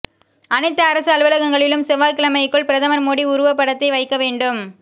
அனைத்து அரசு அலுவலகங்களிலும் செவ்வாய்க்கிழமைக்குள் பிரதமா் மோடி உருவப்படத்தை வைக்க வேண்டும்